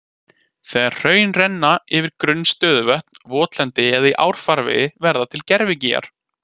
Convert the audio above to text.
Þegar hraun renna yfir grunn stöðuvötn, votlendi eða í árfarvegi verða til gervigígar.